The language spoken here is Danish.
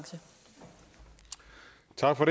træffer